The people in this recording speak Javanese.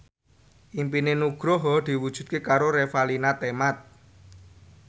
impine Nugroho diwujudke karo Revalina Temat